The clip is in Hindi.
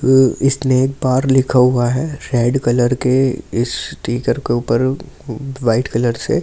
स्नेक बार लिखा हुआ है रेड कलर के इस स्टीकर के ऊपर वाइट कलर से--